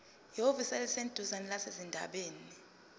ehhovisi eliseduzane labezindaba